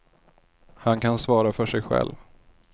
Han kan svara för sig själv.